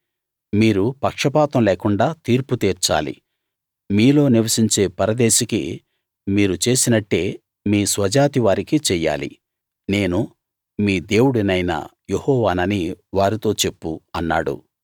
మీరు పక్షపాతం లేకుండా తీర్పు తీర్చాలి మీలో నివసించే పరదేశికి మీరు చేసినట్టే మీ స్వజాతివారికీ చెయ్యాలి నేను మీ దేవుడినైన యెహోవానని వారితో చెప్పు అన్నాడు